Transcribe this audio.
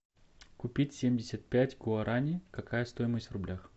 купить семьдесят пять гуарани какая стоимость в рублях